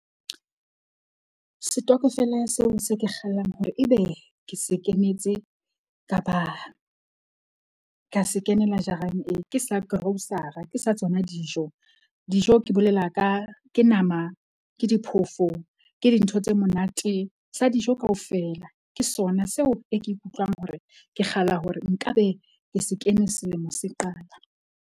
Setokofela seo se ke kgallang hore ebe ke se kenetse kapa ka se kenela jarang e ke sa grocer-a. Ke sa tsona dijo. Dijo ke bolela ka ke nama, ke diphofo, ke dintho tse monate sa dijo kaofela. Ke sona seo e ke ikutlwang hore ke kgalla hore nka be ke se kene selemo se qala.